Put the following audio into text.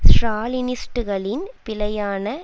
ஸ்ராலினிஸ்ட்டுகளின் பிழையான